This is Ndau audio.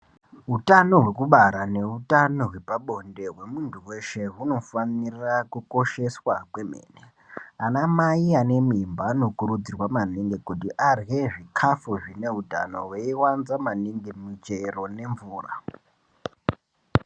Hutano hwekubara neutano hwepabonde hwemuntu weshe hunofanira kukosheswa kwemene anamai anemimba anokurudzirwa maningi kuti arye zvikafu zvine utano veiwanza maningi muchero nemvura.